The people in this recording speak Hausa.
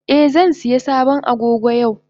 Eh zan iya sabon Agogo yau.